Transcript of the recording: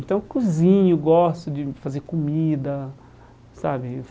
Então cozinho, gosto de fazer comida, sabe?